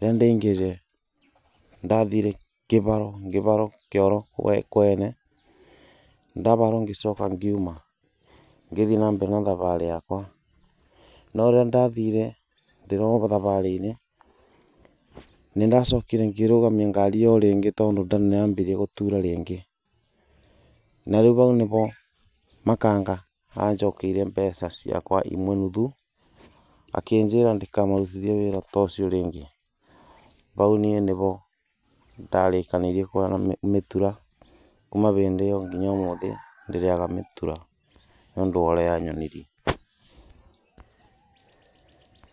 Rĩrĩa ndaingĩrire nĩ ndathire ngĩbarwo ngĩbarwo kĩoro kwene ndabarwo ngĩcoka ngiuma ngĩthiĩ na mbere na thabarĩ yakwa. No rĩrĩa ndathire ndĩrio thabarĩ-inĩ nĩ ndacokire ngĩrũgamia ngari ĩyo ringĩ tondũ nda nĩ yambirie gũtura rĩngĩ. Na rĩu hau nĩ ho makanga anjokeirie mbeca ciakwa imwe nuthu akinjĩra ndikamarutithie wĩra ta ũcio ringĩ. Bau niĩ nĩbo ndarĩkanĩirie kũrĩa mĩtura, kuma bĩndĩ ĩyo ngina ũmũthĩ ndirĩaga mĩtura nĩ ũndũ wa ũrĩa yanyonirie.